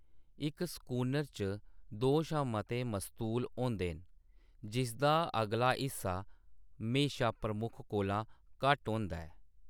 इक स्कूनर च दो शा मते मस्तूल होंदे न, जिसदा अगला हिस्सा म्हेशा प्रमुख कोला घट्ट होंदा ऐ।